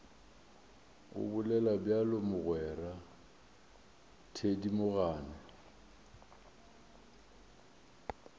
o bolela bjalo mogwera thedimogane